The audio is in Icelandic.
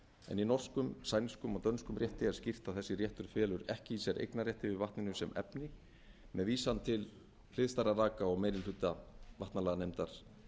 en í norskum sænskum og dönskum rétti er skýrt að þessi réttur felur ekki í sér eignarrétt yfir vatninu sem efni með vísan til hliðstæðra vaka og meiri hluta vatnalaganefndar